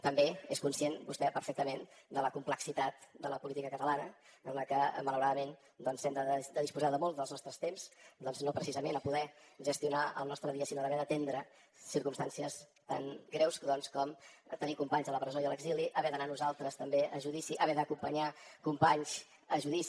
també és conscient vostè perfectament de la complexitat de la política catalana en la que malauradament doncs hem de disposar de molts dels nostres temps no precisament a poder gestionar el nostre dia sinó a haver d’atendre circumstàncies tan greus com tenir companys a la presó i a l’exili haver d’anar nosaltres també a judici haver d’acompanyar companys a judici